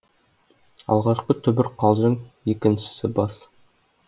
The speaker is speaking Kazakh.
алғашқы түбір қалжың екіншісі бас